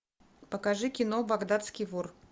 покажи кино багдадский вор